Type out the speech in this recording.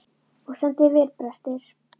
Þú stendur þig vel, Brestir!